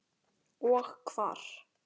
Og hvar.